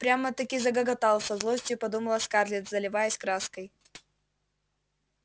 прямо-таки загоготал со злостью подумала скарлетт заливаясь краской